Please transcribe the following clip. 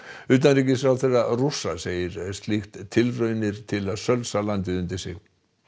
utanríkisráðherra Rússa segir slíkt tilraunir til að sölsa landið undir sig